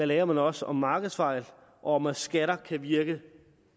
lærer man også om markedsfejl og om at skatter kan virke